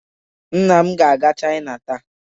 nna m ga-aga china taa.